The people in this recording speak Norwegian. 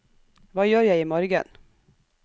hva gjør jeg imorgen